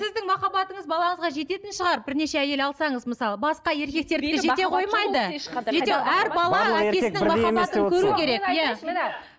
сіздің махаббатыңыз балаңызға жететін шығар бірнеше әйел алсаңыз мысалы басқа еркектердікі жете қоймайды